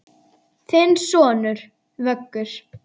Þinn sonur, Vöggur.